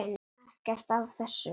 Ekkert af þessu.